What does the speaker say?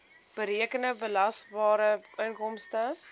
berekende belasbare inkomste